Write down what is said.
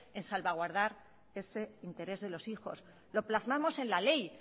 en salvaguardar ese interés de los hijos lo plasmamos en la ley